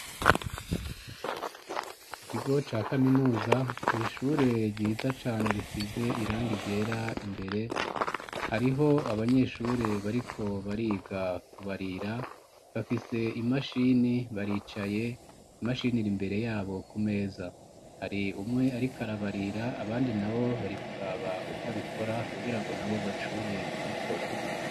mu kigo ca kaminuza mu ishure ryiza cane risize irangi ryera imbere hariho abanyeshure bariko bariga kubarira bafise imashini baricaye imashinira iri imbere yabo ku meza hari umwe arikarabarira abandi na bo barikuraba uko abikora kugira ngo na bo bazishobore kubikora.